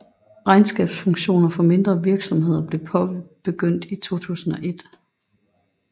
Regnskabsfunktioner for mindre virksomheder blev påbegyndt i 2001